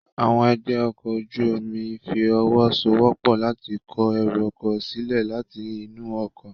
Àwọn ẹgbẹ́ ọkọ̀ ojú omi fi ọwọ́ so wọ́pọ̀ láti kó ẹrù ọkọ̀ sílẹ̀ láti inú ọkọ̀